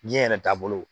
Diɲɛ yɛrɛ taabolo